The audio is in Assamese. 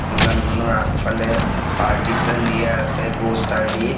দোকানখনৰ আগফালে পৰ্তিছন দিয়া আছে পষ্টাৰ দি।